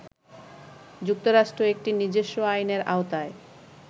যুক্তরাষ্ট্র একটি নিজস্ব আইনের আওতায়